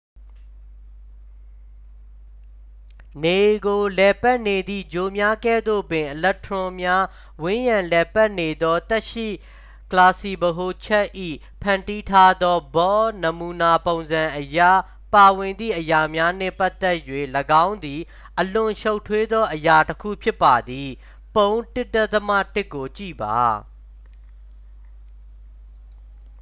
နေကိုလှည့်ပတ်နေသည့်ဂြိုလ်များကဲ့သို့ပင် အီလက်ထရွန်များ ဝန်းရံလှည့်ပတ်နေသော သက်ရှိကလာပ်စည်းဗဟိုချက်၏ ဖန်တီးထားသော bohr နမူနာပုံစံအရ ပါဝင်သည့်အရာများနှင့်ပတ်သက်၍ ၎င်းသည် အလွန်ရှုပ်ထွေးသောအရာတစ်ခု ဖြစ်ပါသည် ပုံ 1.1 ကိုကြည့်ပါ